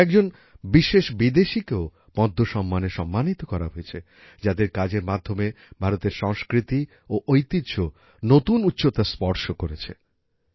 কয়েকজন বিশেষ বিদেশিদেকেও পদ্ম সম্মানে সম্মানিত করা হয়েছে যাদের কাজের মাধ্যমে ভারতের সংস্কৃতি ও ঐতিহ্য নতুন উচ্চতা স্পর্শ করেছে